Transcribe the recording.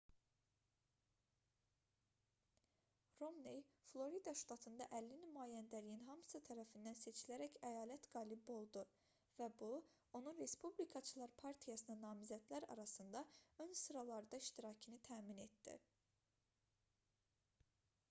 romney florida ştatında əlli nümayəndəliyin hamısı tərəfindən seçilərək əyalət qalibi oldu və bu onun respublikaçılar partiyasına namizədlər arasında ön sıralarda iştirakını təmin etdi